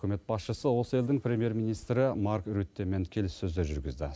үкімет басшысы осы елдің премьер министрі марк рюттимен келіссөздер жүргізді